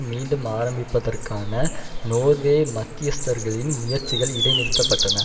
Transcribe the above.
மீண்டும் ஆரம்பிப்பதற்கான நோர்வே மத்தியஸ்தர்களின் முயற்சிகள் இடைநிறுத்தப்பட்டன